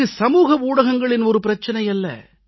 இது சமூக ஊடகங்களின் பிரச்சினை அல்ல